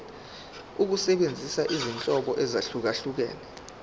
ukusebenzisa izinhlobo ezahlukehlukene